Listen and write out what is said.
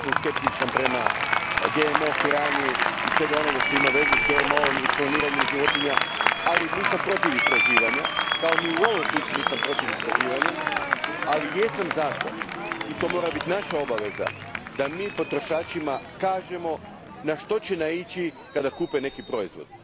Vrlo sam skeptičan prema GMO hrani i svemu onome što ima veze s GMO om i kloniranjem životinja, ali nisam protiv istraživanja, kao što ni u ovom slučaju nisam protiv istraživanja, ali jesam za to, i to mora biti naša obveza, da mi potrošačima kažemo na što će naići kad kupe neki proizvod.